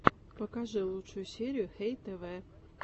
покажи лучшую серию хэй тэвэ